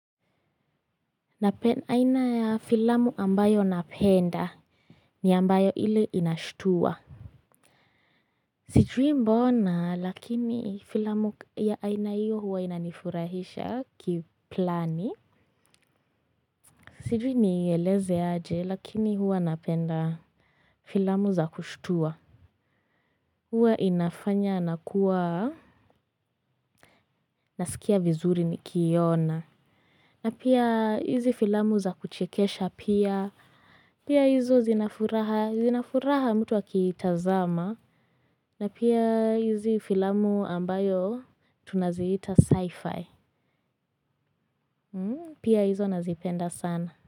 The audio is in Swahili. Aina ya filamu ambayo napenda ni ambayo ile inashitua. Sijui mbona lakini filamu ya aina hiyo huwa inanifurahisha kiplani. Sijui ni ieleze aje lakini huwa napenda filamu za kushitua. Huwa inafanya na kuwa nasikia vizuri nikiiona. Na pia hizi filamu za kuchekesha pia, pia hizo zinafuraha mtu akiitazama, na pia hizi filamu ambayo tunaziita sci-fi, pia hizo nazipenda sana.